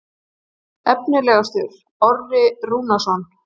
Efnilegastur: Orri Rúnarsson.